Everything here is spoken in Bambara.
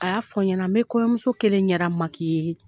A y'a fɔ n ɲɛna n bɛ kɔɲɔmuso kelen ɲɛda makiye i ye